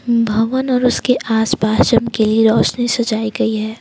भवन और उसके आसपास चमकीली रोशनी सजाई गई है।